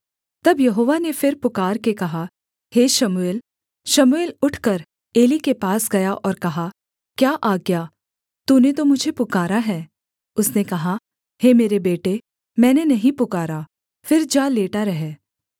तब यहोवा ने फिर पुकारके कहा हे शमूएल शमूएल उठकर एली के पास गया और कहा क्या आज्ञा तूने तो मुझे पुकारा है उसने कहा हे मेरे बेटे मैंने नहीं पुकारा फिर जा लेटा रह